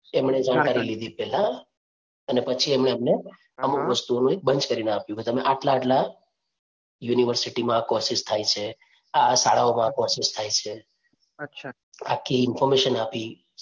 લીધી પહેલા અને પછી એમને અમને અમુક વસ્તુઓનું banch કરી ને આપ્યું કે તમે આટલા આટલા university માં આ courses થાય છે, આ આ શાળાઓ માં courses થાય છે. આખી information આપી.